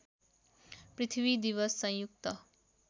पृथ्वी दिवस संयुक्त